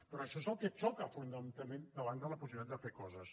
però això és el que xoca frontalment davant la possibilitat de fer les coses